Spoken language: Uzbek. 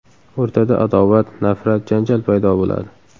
O‘rtada adovat, nafrat, janjal paydo bo‘ladi.